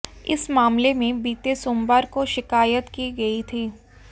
इस मामले में बीते सोमवार को शिकायत की गई थी